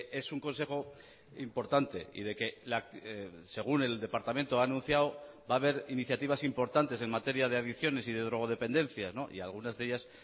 es un consejo importante y de que según el departamento ha anunciado va a haber iniciativas importantes en materia de adicciones y de drogodependencia y algunas de ellas